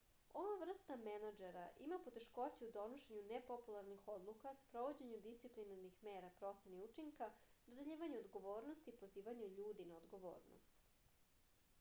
ova vrsta menadžera ima poteškoća u donošenju nepopularnih odluka sprovođenju disciplinarnih mera proceni učinka dodeljivanju odgovornosti i pozivanju ljudi na odgovornost